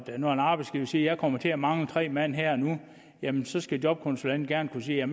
når en arbejdsgiver siger at vedkommende kommer til at mangle tre mand her og nu så skal jobkonsulenten gerne kunne sige jeg